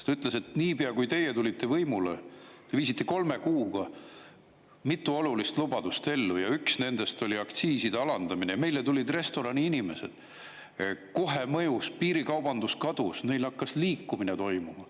Ta ütles, et niipea kui teie tulite võimule, te viisite kolme kuuga mitu olulist lubadust ellu, ja üks nendest oli aktsiiside alandamine, meile tulid restorani inimesed, kohe mõjus, piirikaubandus kadus, neil hakkas liikumine toimuma.